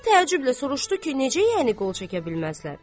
Qazı təəccüblə soruşdu ki, necə yəni qol çəkə bilməzlər?